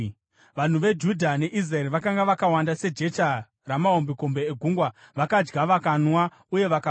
Vanhu veJudha neIsraeri vakanga vakawanda sejecha ramahombekombe egungwa; vakadya, vakanwa uye vakafara.